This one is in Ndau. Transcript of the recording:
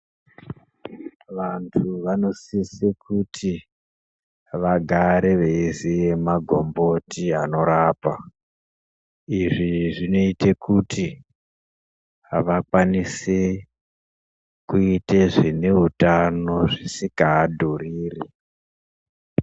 Vantu vanosise kuti vagare veiziya magomboti anorapa. Izvi zvinoite kuti vakwanise kuite zvine utano zvisika adhuriri.